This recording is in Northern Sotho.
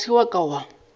ga se wa ka wa